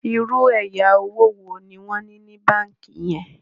ìrù ẹyà owo wo ní wón ní ní bánkì yen?